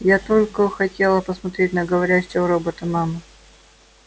я только хотела посмотреть на говорящего робота мама